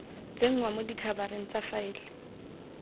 tsenngwa mo dikhabareng tsa faele